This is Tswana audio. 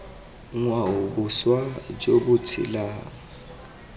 ngwao boswa jo bo tshelang